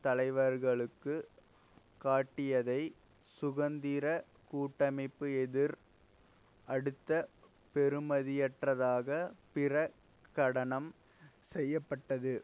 தலைவர்களுக்கு காட்டியதை சுதந்திர கூட்டமைப்பு எதிர் அடுத்து பெறுமதியற்றதாக பிர கடனம் செய்ய பட்டது